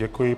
Děkuji.